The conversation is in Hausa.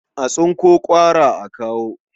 A tsinko ƙwara a kawo.